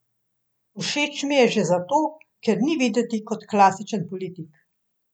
Všeč mi je že zato, ker ni videti kot klasičen politik.